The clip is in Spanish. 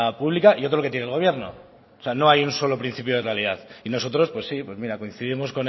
pública y otro que tiene el gobierno o sea no hay solo un principio de realidad nosotros pues sí pues mira coincidimos